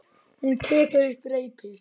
Hún tekur upp reipið.